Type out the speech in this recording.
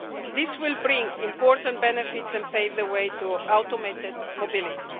This will bring important benefits and pave the way to automated mobility.